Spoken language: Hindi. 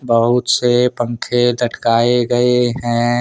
बहुत से पंखे लटकाए गए हैं।